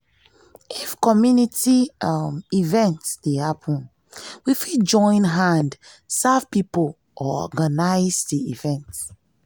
if community um event dey happen we fit join hand serve pipo or organise di event